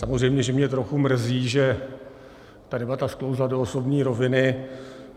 Samozřejmě že mě trochu mrzí, že ta debata sklouzla do osobní roviny.